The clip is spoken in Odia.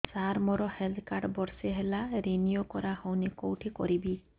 ସାର ମୋର ହେଲ୍ଥ କାର୍ଡ ବର୍ଷେ ହେଲା ରିନିଓ କରା ହଉନି କଉଠି କରିବି